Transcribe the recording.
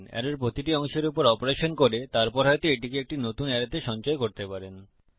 অ্যারের প্রতিটি অংশের উপর অপারেশন করতে পারেন এবং তারপর হয়তো এটিকে একটি নতুন অ্যারেতে সঞ্চয় করতে পারেন